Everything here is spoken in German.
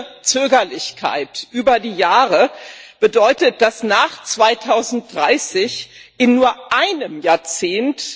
Ihre Zögerlichkeit über die Jahre bedeutet, dass die Emissionen nach 2030 in nur einem Jahrzehnt!